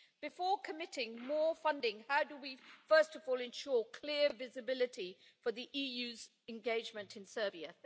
Before committing more funding, how do we, first of all, ensure clear visibility for the EU's engagement in Serbia?